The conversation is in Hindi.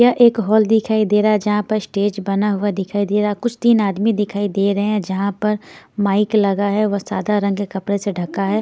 यह एक हॉल दिखाई दे रहा है जहां पर स्टेज बना हुआ दिखाई दे रहा है कुछ तीन आदमी दिखाई दे रहे हैं जहां पर माइक लगा है वह सादा रंग के कपड़े से ढका है।